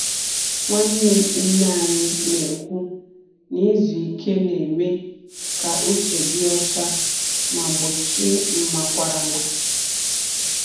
Nwanne nne anyị na-ekwu na izu ike na-eme ka uche dị ọcha ma gbochie mmakwarala.